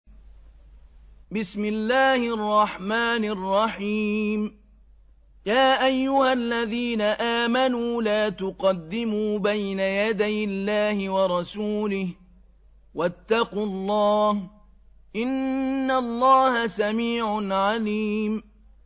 يَا أَيُّهَا الَّذِينَ آمَنُوا لَا تُقَدِّمُوا بَيْنَ يَدَيِ اللَّهِ وَرَسُولِهِ ۖ وَاتَّقُوا اللَّهَ ۚ إِنَّ اللَّهَ سَمِيعٌ عَلِيمٌ